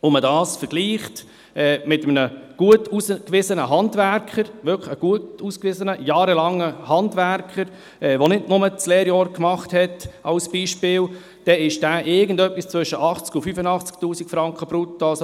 Wenn man dies mit einem gut ausgewiesenen Handwerker vergleicht, einem wirklich gut ausgewiesenen Handwerker mit jahrelanger Erfahrung, der nicht nur ein Lehrjahr absolviert hat, so liegt dieser mit seinem Lohn irgendwo zwischen 80 000 und 85 000 Franken brutto.